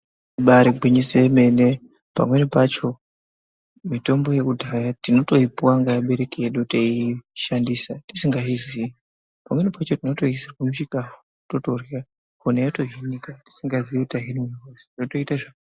Ibaari gwinyiso yemene, pamweni pacho mitombo yekudhaya tinotoipuwa ngeabereki edu teishandisa tizongazvizii, pamweni pacho tinotoiisirwa muchikafu totorya honye yotohinika tisingazii kuti tahinwa hosha zvotoita zvakanaka .